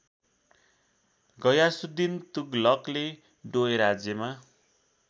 गयासुद्धिन तुगलकले डोयराज्यमा